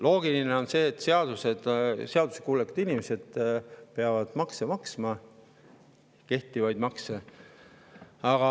Loogiline on see, et seaduskuulekad inimesed maksavad kehtivaid makse.